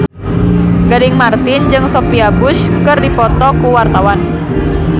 Gading Marten jeung Sophia Bush keur dipoto ku wartawan